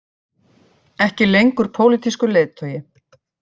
Ekki lengur pólitískur leiðtogi